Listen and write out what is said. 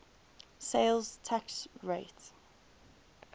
sales tax rate